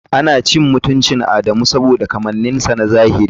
Ana cin mutuncin Adamu saboda kamanninsa na zahiri.